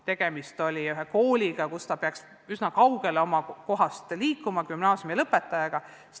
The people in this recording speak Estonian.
Tegemist oli sellise kooliga, kus gümnaasiumilõpetaja peaks eksamite tegemiseks oma elukohast üsna kaugele liikuma.